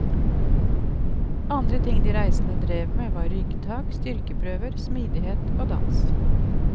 Andre ting de reisende drev med var ryggtak, styrkeprøver, smidighet og dans.